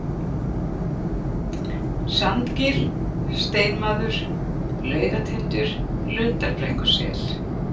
Sandgil, Steinmaður, Laugatindur, Lundarbrekkusel